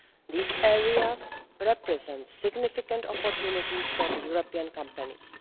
These areas represent significant opportunities for European companies.